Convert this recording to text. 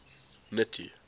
nuttie